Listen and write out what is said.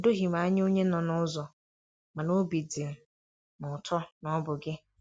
O doghị m anya onye nọ n'ụzọ, mana óbị dị m ụtọ na ọ bụ gị.